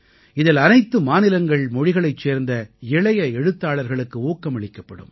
இதில் அனைத்து மாநிலங்கள்மொழிகளைச் சேர்ந்த இளைய எழுத்தாளர்களுக்கு ஊக்கமளிக்கப்படும்